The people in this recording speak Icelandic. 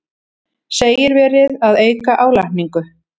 Segir verið að auka álagningu